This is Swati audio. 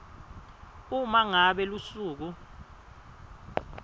uma ngabe lusuku